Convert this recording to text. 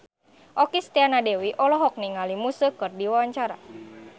Okky Setiana Dewi olohok ningali Muse keur diwawancara